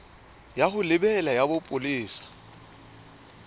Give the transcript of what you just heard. ya ho lebela ya bopolesa